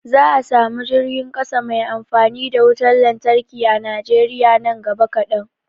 Za a samu jirgin ƙasa mai amfani da wutar lantarki a Najeriya nan gaba kadan